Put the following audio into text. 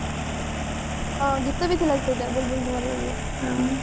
ହଁ ଗୀତ ବି ଥିଲା ସେଇଟା ବୁଲ୍ବୁଲ ର ଯୋଉ ହଁ